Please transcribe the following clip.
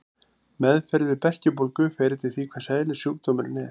Meðferð við berkjubólgu fer eftir því hvers eðlis sjúkdómurinn er.